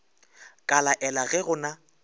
ka laela ge go na